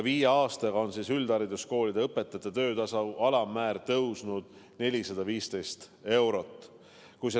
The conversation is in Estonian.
Viie aastaga on üldhariduskoolide õpetajate töötasu alammäär tõusnud 415 eurot.